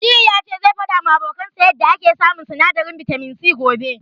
Aliyu ya ce zai faɗawa abokansa yanda yake samun sinadarin bitamin C gobe.